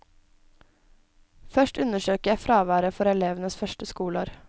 Først undersøker jeg fraværet for elevenes første skoleår.